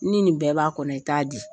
Ni nin bɛɛ b'a kɔnɔ i t'a di.